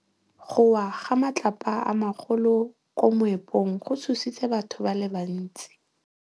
Go wa ga matlapa a magolo ko moepong go tshositse batho ba le bantsi.